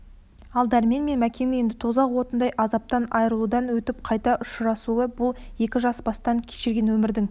ал дәрмен мен мәкеннің енді тозақ отындай азаптан айрылудан өтіп қайта ұшырасуы бұл екі жас бастан кешірген өмірдің